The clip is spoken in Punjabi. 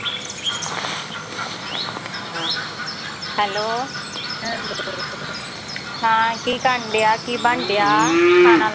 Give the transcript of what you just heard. hello ਹਾਂ ਕੀ ਕਰਨ ਡਿਆ, ਕੀ ਬਣਨ ਡਿਆ? ਖਾਣਾ